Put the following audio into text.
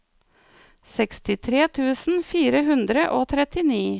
sekstitre tusen fire hundre og trettini